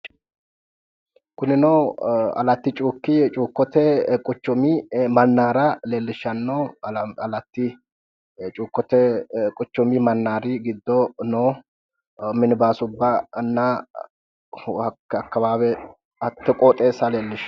Kunino alati cuukote quchumi manara leelishano alati cuukote quchumi manari gido noo minbaasubana hate qooxxesa leelishano